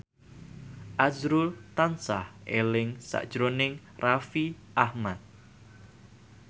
azrul tansah eling sakjroning Raffi Ahmad